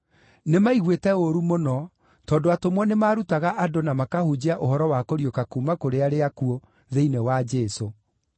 Nĩmaiguĩte ũũru mũno tondũ atũmwo nĩmarutaga andũ na makahunjia ũhoro wa kũriũka kuuma kũrĩ arĩa akuũ thĩinĩ wa Jesũ.